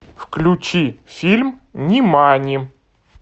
включи фильм нимани